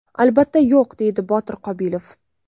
Albatta yo‘q”, – deydi Botir Qobilov.